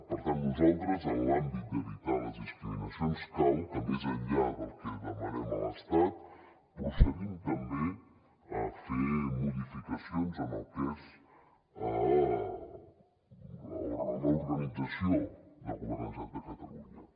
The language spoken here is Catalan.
per tant nosaltres en l’àmbit d’evitar les discriminacions cal que més enllà del que demanem a l’estat procedim també a fer modificacions en el que és l’organització del govern de la generalitat de catalunya